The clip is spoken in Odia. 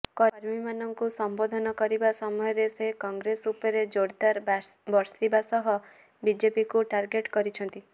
କର୍ମୀମାନଙ୍କୁ ସମ୍ବୋଧନ କରିବା ସମୟରେ ସେ କଂଗ୍ରେସ ଉପରେ ଜୋରଦାର ବର୍ଷିବା ସହ ବିଜେପିକୁ ଟାର୍ଗେଟ କରିଛନ୍ତି